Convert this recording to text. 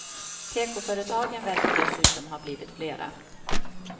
Tekoföretagen verkar dessutom har blivit flera.